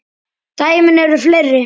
Dæmin eru fleiri.